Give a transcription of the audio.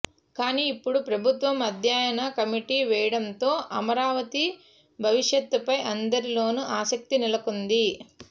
కానీ ఇప్పుడు ప్రభుత్వం అధ్యయన కమిటీ వేయడంతో అమరావతి భవిష్యత్పై అందరిలోనూ ఆసక్తి నెలకొంది